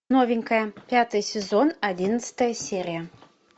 новенькая пятый сезон одиннадцатая серия